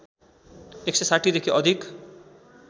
१६० देखि अधिक